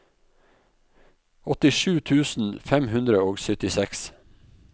åttisju tusen fem hundre og syttiseks